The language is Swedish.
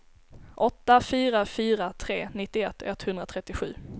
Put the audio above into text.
åtta fyra fyra tre nittioett etthundratrettiosju